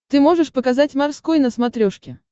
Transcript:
ты можешь показать морской на смотрешке